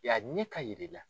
Yan a ɲɛ ka yɛlɛ ja.